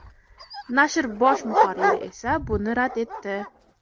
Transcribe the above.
Nashr bosh muharriri esa buni rad etdi.